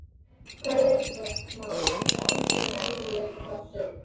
Hvaða leikmann myndir þú gera raunveruleikaþátt um?